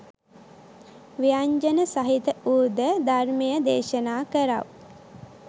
ව්‍යඤ්ජන සහිත වූ ද ධර්මය දේශනා කරව්.